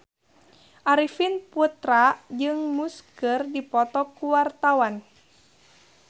Arifin Putra jeung Muse keur dipoto ku wartawan